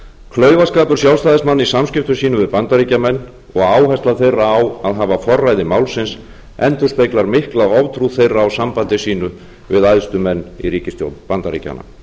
klaufaskapur sjálfstæðismanna í samskiptum sínum við bandaríkjamenn og áhersla þeirra á að hafa forræði málsins endurspeglar mikla oftrú þeirra á sambandi sínu við æðstu menn í ríkisstjórn bandaríkjanna